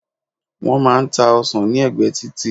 wón má n ta ọsàn ni ẹgbẹ titi